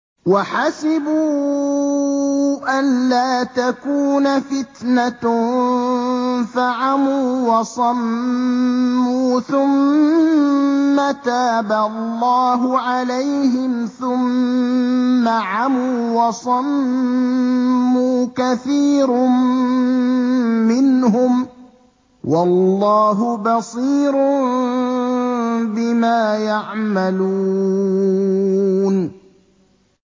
وَحَسِبُوا أَلَّا تَكُونَ فِتْنَةٌ فَعَمُوا وَصَمُّوا ثُمَّ تَابَ اللَّهُ عَلَيْهِمْ ثُمَّ عَمُوا وَصَمُّوا كَثِيرٌ مِّنْهُمْ ۚ وَاللَّهُ بَصِيرٌ بِمَا يَعْمَلُونَ